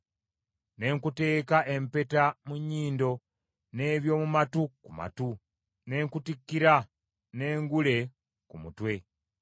ne nkuteeka empeta mu nnyindo, n’eby’omu matu ku matu, ne nkutikkira n’engule ku mutwe.